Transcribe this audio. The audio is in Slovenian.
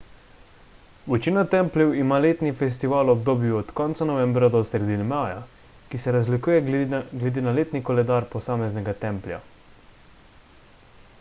večina templjev ima letni festival v obdobju od konca novembra do sredine maja ki se razlikuje glede na letni koledar posameznega templja